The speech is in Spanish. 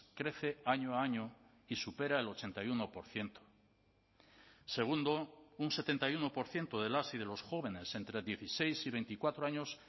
crece año a año y supera el ochenta y uno por ciento segundo un setenta y uno por ciento de las y de los jóvenes entre dieciséis y veinticuatro años